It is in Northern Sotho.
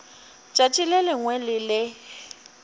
tšatši le lengwe le le